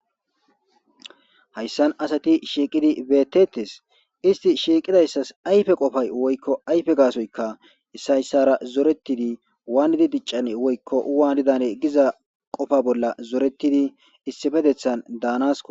hayssan asati shiiqidi beettetes isti shiiqidayssas ayfe qofay woykko ayfe gaasoyka issay issara zoretidi waanidi diccan woykko waani dane giza qofa bolla zoretidi issipetethan daanasko